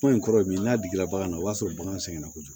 Ko in kɔrɔ ye min ye n'a jiginna bagan na o y'a sɔrɔ bagan sɛgɛnna kojugu